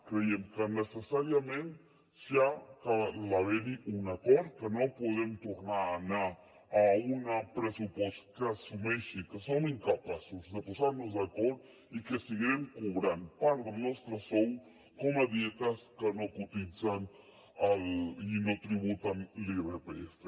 creiem que necessàriament hi ha d’haver un acord que no podem tornar a anar a un pressupost que assumeixi que som incapaços de posar nos d’acord i que seguirem cobrant part del nostre sou com a dietes que no cotitzen i no tributen l’irpf